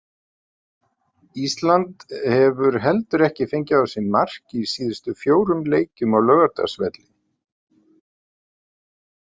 Ísland hefur heldur ekki fengið á sig mark í síðustu fjórum leikjum á Laugardalsvelli.